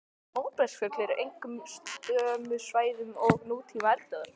Móbergsfjöll eru einkum á sömu svæðum og nútíma eldstöðvar.